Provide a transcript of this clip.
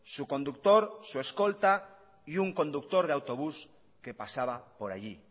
su conductor su escolta y un conductor de autobús que pasaba por allí